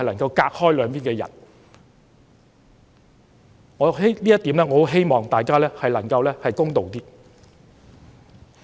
就這一點，我希望大家能夠公道一些。